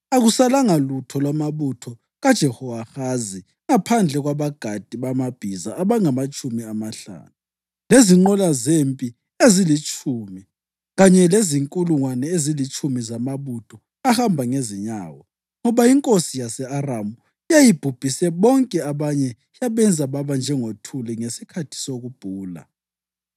Akusalanga lutho lwamabutho kaJehowahazi ngaphandle kwabagadi bamabhiza abangamatshumi amahlanu, lezinqola zempi ezilitshumi kanye lezinkulungwane ezilitshumi zamabutho ahamba ngezinyawo, ngoba inkosi yase-Aramu yayibhubhise bonke abanye yabenza baba njengothuli ngesikhathi sokubhula.